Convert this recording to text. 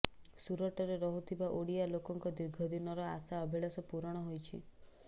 ସୁରଟରେ ରହୁଥିବା ଓଡ଼ିଆ ଲୋକଙ୍କ ଦୀର୍ଘ ଦିନର ଆଶା ଅଭିଳାଶ ପୁରଣ ହୋଇଛି